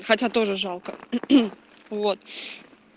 хотя тоже жалко вот